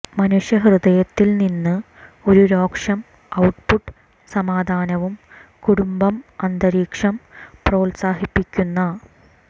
മനുഷ്യ ഹൃദയത്തിൽ നിന്ന് ഒരു രോഷം ഔട്ട്പുട്ട് സമാധാനവും കുടുംബം അന്തരീക്ഷം പ്രോത്സാഹിപ്പിക്കുന്ന